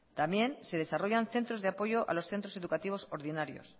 también se desarrollan centros de apoyo a los centros educativos ordinarios